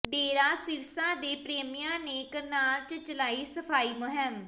ਡੇਰਾ ਸਿਰਸਾ ਦੇ ਪ੍ਰੇਮੀਆਂ ਨੇ ਕਰਨਾਲ ਚ ਚਲਾਈ ਸਫਾਈ ਮੁਹਿੰਮ